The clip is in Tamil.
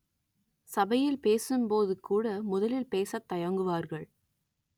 சபையில் பேசும் போது கூட முதலில் பேசத் தயங்குவார்கள்